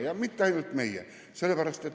Ja mitte ainult meie.